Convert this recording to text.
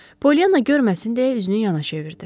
Polyana görməsin deyə üzünü yana çevirdi.